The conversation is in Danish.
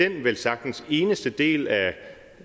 den velsagtens eneste del